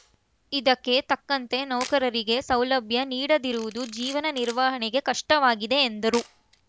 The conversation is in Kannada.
ಇದಕ್ಕೆ ತಕ್ಕಂತೆ ನೌಕರರಿಗೆ ಸೌಲಭ್ಯ ನೀಡದಿರುವುದು ಜೀವನ ನಿರ್ವಹಣೆಗೆ ಕಷ್ಟವಾಗಿದೆ ಎಂದರು